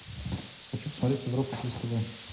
хочу посмотреть европа плюс тв